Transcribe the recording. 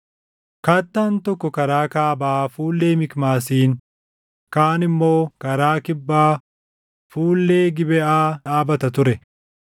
Kattaan tokko karaa kaabaa fuullee Mikmaasiin, kaan immoo karaa kibbaa fuullee Gibeʼaa dhaabata ture.